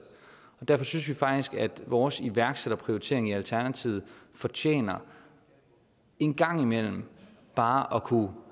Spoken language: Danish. derfor synes vi faktisk at vores iværksætterprioritering i alternativet fortjener en gang imellem bare at kunne